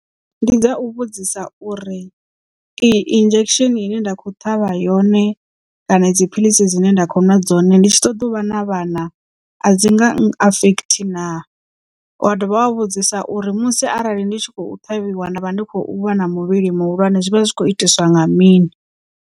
Ndi dza u vhudzisa uri iyi injection ine nda kho ṱhavha yone kana idzi philisi dzine nda kho nwa dzone ndi tshi ṱoḓa u vha na vhana a dzi nga affect na wa dovha wa vhudzisa uri musi arali ndi tshi khou ṱhavhiwa nda vha ndi khou vha na muvhili muhulwane zwi vha zwi kho itiswa nga mini.